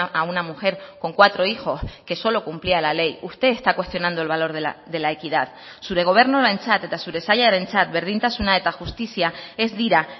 a una mujer con cuatro hijos que solo cumplía la ley usted está cuestionando el valor de la equidad zure gobernuarentzat eta zure sailarentzat berdintasuna eta justizia ez dira